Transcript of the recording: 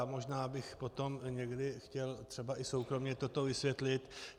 Já možná bych potom někdy chtěl třeba i soukromě toto vysvětlit.